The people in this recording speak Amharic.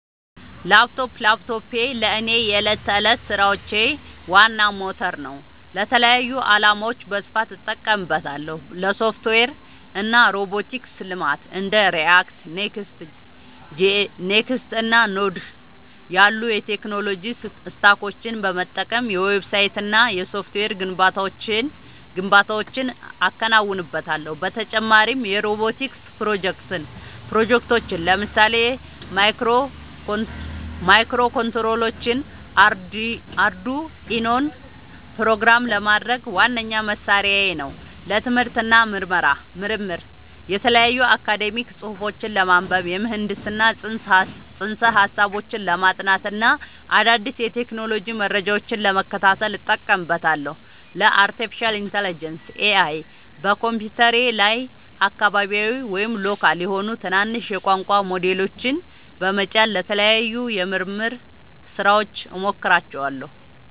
ላፕቶፕ ላፕቶፔ ለእኔ የዕለት ተዕለት ሥራዎቼ ዋና ሞተር ነው። ለተለያዩ ዓላማዎች በስፋት እጠቀምበታለሁ - ለሶፍትዌር እና ሮቦቲክስ ልማት እንደ React፣ Next.js እና Node.js ያሉ የቴክኖሎጂ ስታኮችን በመጠቀም የዌብሳይትና የሶፍትዌር ግንባታዎችን አከናውንበታለሁ። በተጨማሪም የሮቦቲክስ ፕሮጀክቶችን (ለምሳሌ ማይክሮኮንትሮለሮችንና አርዱኢኖን) ፕሮግራም ለማድረግ ዋነኛ መሣሪያዬ ነው። ለትምህርት እና ምርምር የተለያዩ አካዳሚያዊ ጽሑፎችን ለማንበብ፣ የምህንድስና ፅንሰ-ሀሳቦችን ለማጥናት እና አዳዲስ የቴክኖሎጂ መረጃዎችን ለመከታተል እጠቀምበታለሁ። ለአርቲፊሻል ኢንተለጀንስ (AI) በኮምፒውተሬ ላይ አካባቢያዊ (local) የሆኑ ትናንሽ የቋንቋ ሞዴሎችን (LLMs) በመጫን ለተለያዩ የምርምር ሥራዎች እሞክራቸዋለሁ።